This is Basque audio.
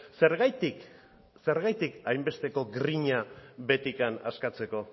zenbaitik hainbesteko grina behetik askatzeko